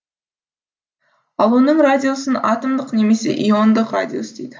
ал оның радиусын атомдық немесе иондық радиус дейді